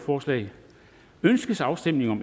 forslag ønskes afstemning om